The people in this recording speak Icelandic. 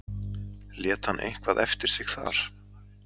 Lét hann eitthvað eftir sig þar?